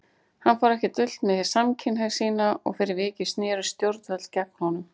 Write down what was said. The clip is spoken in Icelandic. Hann fór ekki dult með samkynhneigð sína og fyrir vikið snerust stjórnvöld gegn honum.